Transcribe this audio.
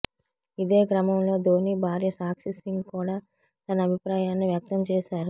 ఇదే క్రమంలో ధోని భార్య సాక్షి సింగ్ కూడా తన అభిప్రాయాన్ని వ్యక్తం చేశారు